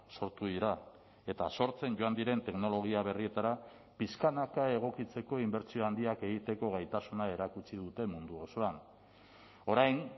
sortu dira eta sortzen joan diren teknologia berrietara pixkanaka egokitzeko inbertsio handiak egiteko gaitasuna erakutsi dute mundu osoan orain